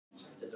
Vernharð